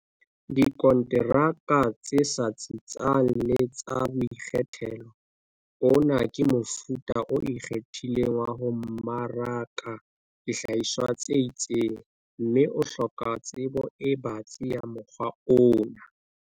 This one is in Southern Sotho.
Dikonteraka tse sa tsitsang le tsa boikgethelo. Ona ke mofuta o ikgethileng wa ho mmaraka dihlahiswa tse itseng, mme o hloka tsebo e batsi ya mokgwa ona.